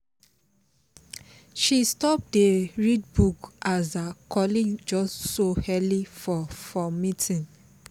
she stop dey read book as her colleague just show early for for meeting